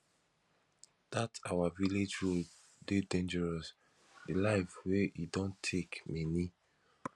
dat our village road dey dangerous the life wey e don take many